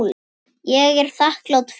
Ég er þakklát fyrir það.